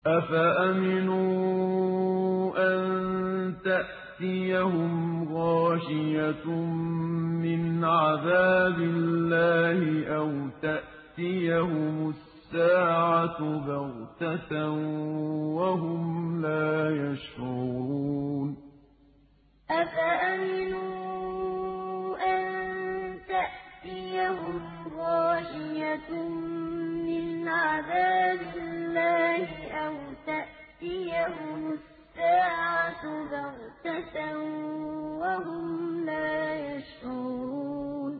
أَفَأَمِنُوا أَن تَأْتِيَهُمْ غَاشِيَةٌ مِّنْ عَذَابِ اللَّهِ أَوْ تَأْتِيَهُمُ السَّاعَةُ بَغْتَةً وَهُمْ لَا يَشْعُرُونَ أَفَأَمِنُوا أَن تَأْتِيَهُمْ غَاشِيَةٌ مِّنْ عَذَابِ اللَّهِ أَوْ تَأْتِيَهُمُ السَّاعَةُ بَغْتَةً وَهُمْ لَا يَشْعُرُونَ